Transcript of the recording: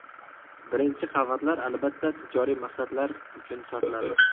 Birinchi qavatlar albatta tijoriy maqsadlar uchun sotiladi.